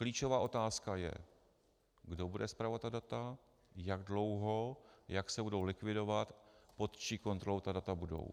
Klíčová otázka je, kdo bude spravovat ta data, jak dlouho, jak se budou likvidovat, pod čí kontrolou ta data budou.